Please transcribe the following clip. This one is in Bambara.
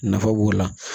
Nafa b'o la